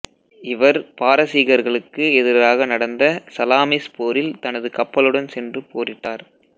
இவர் பாரசீகர்களுக்கு எதிராக நடந்த சலாமிஸ் போரில் தனது கப்பலுடன் சென்று போரிட்டார்